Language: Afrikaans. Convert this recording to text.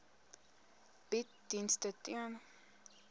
bied dienste ten